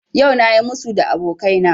Yau na yi musu da abokaina